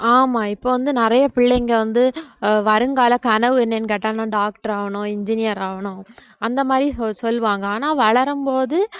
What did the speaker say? ஆமா இப்ப வந்து நிறைய பிள்ளைங்க வந்து அஹ் வருங்கால கனவு என்னன்னு கேட்டா நான் doctor ஆகணும் engineer ஆகணும் அந்த மாதிரி சொல்~ சொல்லுவாங்க ஆனா வளரும்போது